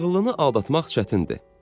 Ağıllını aldatmaq çətindir.